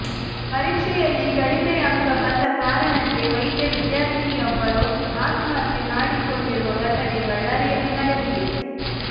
ಪರೀಕ್ಷೆಯಲ್ಲಿ ಕಡಿಮೆ ಅಂಕ ಬಂದ ಕಾರಣಕ್ಕೆ ವೈದ್ಯ ವಿದ್ಯಾರ್ಥಿನಿಯೊಬ್ಬರು ಆತ್ಮಹತ್ಯೆ ಮಾಡಿಕೊಂಡಿರುವ ಘಟನೆ ಬಳ್ಳಾರಿಯಲ್ಲಿ ನಡೆದಿದೆ